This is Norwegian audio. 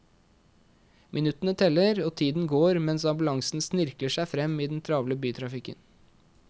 Minuttene teller og tiden går mens ambulansen snirkler seg frem i den travle bytrafikken.